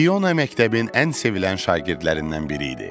Fiona məktəbin ən sevilən şagirdlərindən biri idi.